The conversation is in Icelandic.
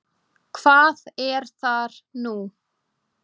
Hvað er þar nú?